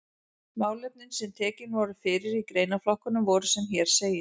Málefnin sem tekin voru fyrir í greinaflokkunum voru sem hér segir